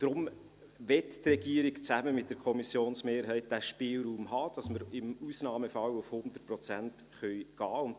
Deshalb möchte die Regierung zusammen mit der Kommissionsmehrheit diesen Spielraum haben, damit wir im Ausnahmefall auf 100 Prozent gehen können.